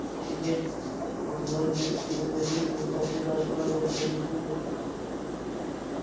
এই গেট -টি লোহার গেট দিয়ে তৈরি দুপাশে গাছপালা রয়েছে অনেক সুন্দর পরিবেশ তৈরি করেছে পরিবেশ এবং --